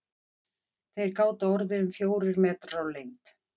Þeir gátu orðið um fjórir metrar á lengd.